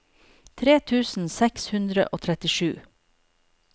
tre tusen seks hundre og trettisju